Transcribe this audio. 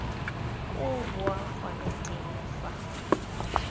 koo boa gone teng fa